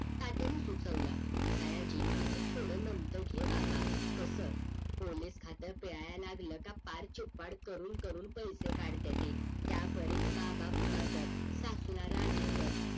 तात्यांनी सुचवलं सयाजी तू थोड नमतं घे बाबा कस पोलीस खात्यात याआला लागलं का फार चिपाड करून करून पैसे काढतात ते त्या बरेच बाबा पूताकर सासू ला राजी कर